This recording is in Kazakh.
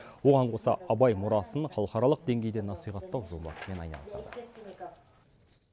оған қоса абай мұрасын халықаралық деңгейде насихаттау жобасымен айналысады